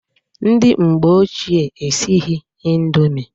Ndị mgbe ochie esighi indomi.